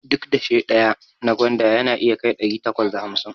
Duk dashe ɗaya na gwanda yana iya kai ɗari takwas da hamsin